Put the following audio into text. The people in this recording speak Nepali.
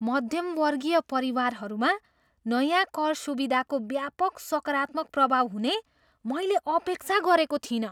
मध्यमवर्गीय परिवारहरूमा नयाँ कर सुधारको व्यापक सकारात्मक प्रभाव हुने मैले अपेक्षा गरेको थिइनँ।